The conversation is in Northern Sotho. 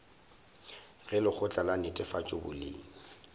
ge lekgotla la netefatšo boleng